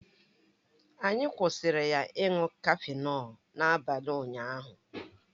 Anyị kwụsịrị ya ịṅụ cafenọlu n'abalị ụnyaahụ